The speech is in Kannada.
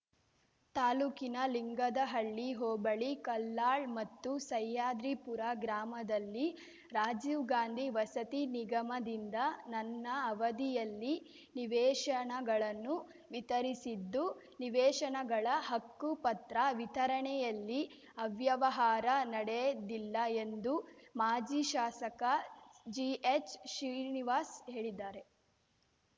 ತಾಲೂಕಿನ ಲಿಂಗದಹಳ್ಳಿ ಹೋಬಳಿ ಕಲ್ಲಾಳ್‌ ಮತ್ತು ಸಹ್ಯಾದ್ರಿಪುರ ಗ್ರಾಮದಲ್ಲಿ ರಾಜೀವ್‌ ಗಾಂಧಿ ವಸತಿ ನಿಗಮದಿಂದ ನನ್ನ ಅವಧಿಯಲ್ಲಿ ನಿವೇಶನಗಳನ್ನು ವಿತರಿಸಿದ್ದು ನಿವೇಶನಗಳ ಹಕ್ಕುಪತ್ರ ವಿತರಣೆಯಲ್ಲಿ ಅವ್ಯವಹಾರ ನಡೆದಿಲ್ಲ ಎಂದು ಮಾಜಿ ಶಾಸಕ ಜಿಎಚ್‌ಶ್ರೀನಿವಾಸ್‌ ಹೇಳಿದ್ದಾರೆ